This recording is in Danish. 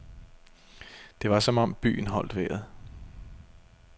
Det var som om byen holdt vejret.